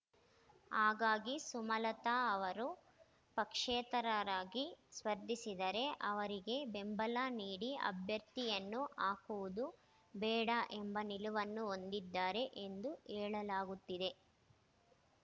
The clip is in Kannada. ಹಾಗಾಗಿ ಸುಮಲತಾರವರು ಪಕ್ಷೇತರರಾಗಿ ಸ್ಪರ್ಧಿಸಿದರೆ ಅವರಿಗೆ ಬೆಂಬಲ ನೀಡಿ ಅಭ್ಯರ್ಥಿಯನ್ನು ಹಾಕುವುದು ಬೇಡ ಎಂಬ ನಿಲುವನ್ನು ಹೊಂದಿದ್ದಾರೆ ಎಂದು ಹೇಳಲಾಗುತ್ತಿದೆ